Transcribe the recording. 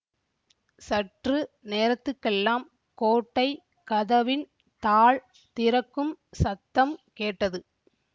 சற்று நேரத்துக்கெல்லாம் கோட்டை கதவின் தாள் திறக்கும் சத்தம் கேட்டது